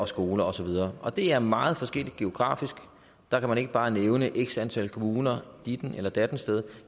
skoler og så videre og det er meget forskelligt geografisk der kan man ikke bare nævne x antal kommuner ditten eller datten sted